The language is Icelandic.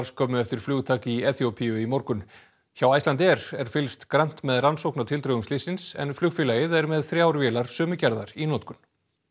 skömmu eftir flugtak í Eþíópíu í morgun hjá Icelandair er fylgst grannt með rannsókn á tildrögum slyssins en flugfélagið er með þrjár vélar sömu gerðar í notkun